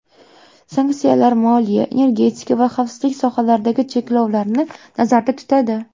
Sanksiyalar moliya, energetika va xavfsizlik sohalaridagi cheklovlarni nazarda tutadi.